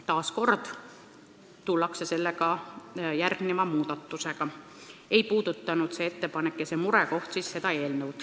Taas tullakse selle teema juurde järgmiste muudatustega, st see ettepanek ja see murekoht ei puuduta seda eelnõu.